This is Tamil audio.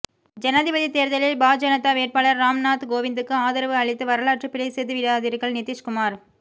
ஜனாதிபதி தேர்தலில் பாஜனதா வேட்பாளர் ராம் நாத் கோவிந்துக்கு ஆதரவு அளித்து வரலாற்று பிழை செய்துவிடாதீர்கள் நிதிஷ் குமார்